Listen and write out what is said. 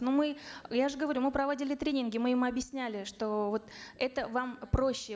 но мы я же говорю мы проводили тренинги мы им объясняли что вот это вам проще